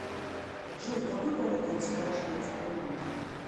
джой какой валютой расплачиваются в бурунди